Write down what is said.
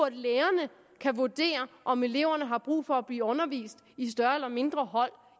at lærerne kan vurdere om eleverne har brug for at blive undervist i større eller mindre hold